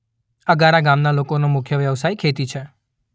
અગારા ગામના લોકોનો મુખ્ય વ્યવસાય ખેતી છે.